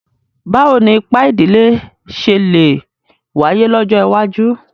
Báwo ni ipa ìdílé ṣe lè wáyé lọ́jọ́ iwájú?